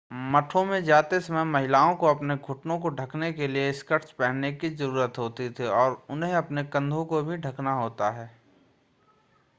मठों में जाते समय महिलाओं को अपने घुटनों को ढकने के लिए स्कर्ट्स पहनने की ज़रूरत होती है और उन्हें अपने कंधों को भी ढकना होता है